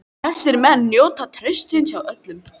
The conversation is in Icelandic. Þessir menn njóta trausts hjá öllum.